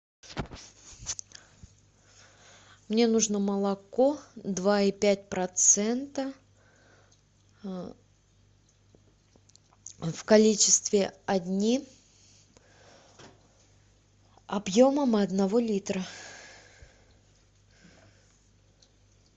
мне нужно молоко два и пять процента в количестве одни объемом одного литра